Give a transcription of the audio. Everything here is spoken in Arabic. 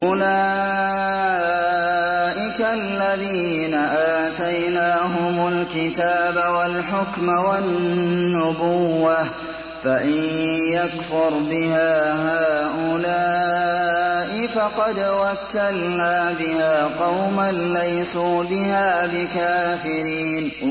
أُولَٰئِكَ الَّذِينَ آتَيْنَاهُمُ الْكِتَابَ وَالْحُكْمَ وَالنُّبُوَّةَ ۚ فَإِن يَكْفُرْ بِهَا هَٰؤُلَاءِ فَقَدْ وَكَّلْنَا بِهَا قَوْمًا لَّيْسُوا بِهَا بِكَافِرِينَ